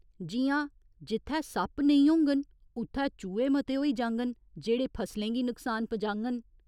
जि'यां जित्थै सप्प नेईं होङन उत्थै चूहे मते होई जाङन, जेह्ड़े फसलें गी नक्सान पजाङन।